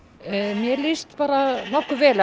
mér líst bara nokkuð vel